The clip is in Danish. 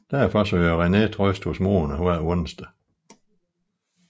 Derfor søger René trøst hos Mona hver onsdag